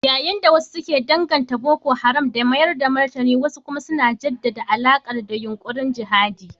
Yayin da wasu ke danganta Boko Haram da mayar da martani wasu kuma na jaddada alakarta da yunkurin jihadi.